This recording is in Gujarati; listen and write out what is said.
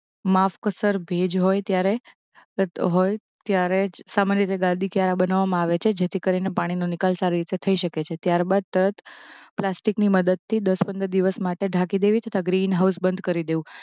માફકસર ભેજ હોય ત્યારે તથ હોય ત્યારે જ સામાન્ય રીતે ગાદી ક્યારાં બનાવવામાં આવે છે જેથા કરીને પાણીનો નિકાલ સારી રીતે થઇ શકે છે ત્યારબાદ તરત પ્લાસ્ટિકની મદદથી દસ પંદર દિવસ માટે ઢાંકી દેવી તથા ગ્રીન હાઉસ બંધ કરી દેવું